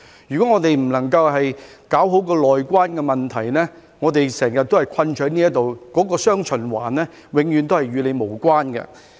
如果不能夠搞好"內關"的問題，我們便會困在這裏，"雙循環"永遠都與我們無關。